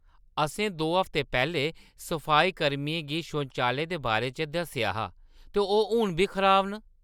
असें दो हफ्ते पैह्‌‌‌लें सफाई-कर्मियें गी शौचालयें दे बारे च दस्सेआ हा ते ओह्‌‌ हून बी खराब न।